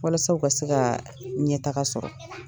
Walasa u ka se ka ɲɛtaaga sɔrɔ.